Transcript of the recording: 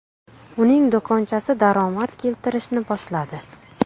Uning do‘konchasi daromad keltirishni boshladi.